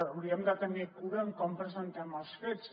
hauríem de tenir cura en com presentem els fets